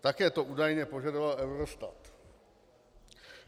Také ty údaje požadoval Eurostat.